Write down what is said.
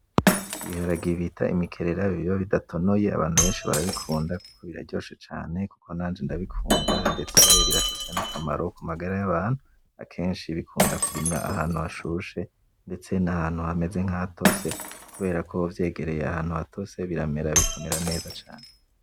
Ibiharage bita Imikerera biba bidatonoye abantu benshi barabikunda kuko biraryoshe cane , kuko nanje ndabikunda. Ndetse birafise n'akamaro ku magara y'abantu. Akenshi bikunda kurimwa ahantu hashushe, ndetse nahantu hameze nkahatose kubera ko vyegereye ahantu hatose biramera bikamera neza cane.